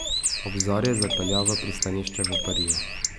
Ob zori je zapeljal v pristanišče v Bariju.